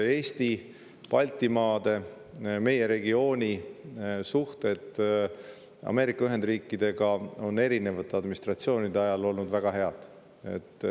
Eesti, Baltimaade, üldse meie regiooni suhted Ameerika Ühendriikidega on erinevate administratsioonide ajal olnud väga head.